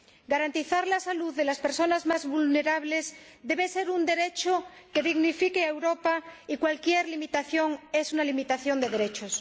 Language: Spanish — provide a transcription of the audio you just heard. Garantizar la salud de las personas más vulnerables debe ser un derecho que dignifique a Europa y cualquier limitación es una limitación de derechos.